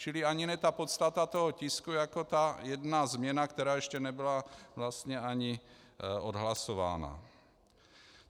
Čili ani ne tak podstata toho tisku jako ta jedna změna, která ještě nebyla vlastně ani odhlasována.